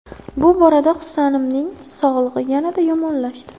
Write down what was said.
Bu orada Husanimning sog‘lig‘i yanada yomonlashdi.